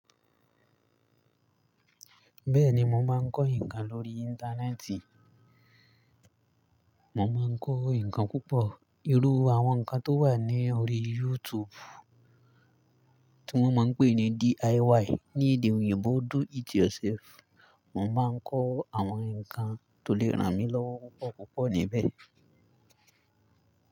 Bẹ́ẹ̀ni mo máa ń kọ́ nǹkan lórí Íńtánẹ́ẹ̀tì. Mo má ń kọ́ nǹkan púpọ̀ irú àwọn nǹkan tó wà ní orí YouTube tí wọ́n máa ń pè ní DIY ní èdè òyìnbó Do It Yourself. Mo máa ń kọ́ àwọn nǹkan tó lè ràn mí lọ́wọ́ púpọ̀ púpọ̀ níbẹ̀